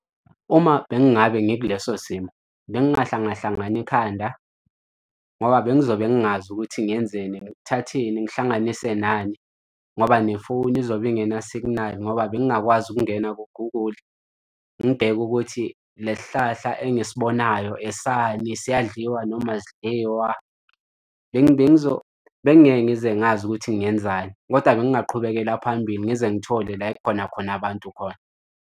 Uma bengingabe ngikuleso simo bengingahlangahlangana ekhanda ngoba bengizobe ngingazi ukuthi ngenzeni ngithatheni ngihlanganise nani ngoba nefoni izobe ingena-signal ngoba bengakwazi ukungena ku-Google ngibheke ukuthi le sihlahla engisibonayo esani siyadliwa noma asidliwa. Bengingeke ngize ngazi ukuthi ngenzani, kodwa bengaqhubekela phambili ngize ngithole la ekhona khona abantu khona.